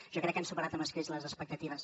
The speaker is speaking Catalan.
jo crec que han superat amb escreix les expectatives